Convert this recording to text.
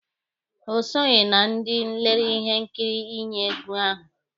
O soghi na ndị lere ihe nkiri iyi egwu ahụ.